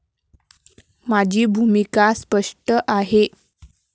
माझी भूमिका स्पष्ट आहे.